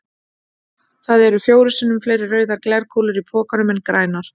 Það eru fjórum sinnum fleiri rauðar glerkúlur í pokanum en grænar.